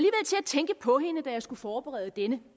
tænke på hende da jeg skulle forberede denne